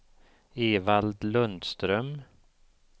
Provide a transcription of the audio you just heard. Evald Lundström